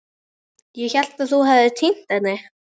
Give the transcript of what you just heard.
Ég hélt að þú hefðir týnt henni.